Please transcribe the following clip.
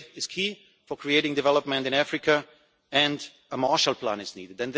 Trade is key for creating development in Africa and a Marshall Plan is needed.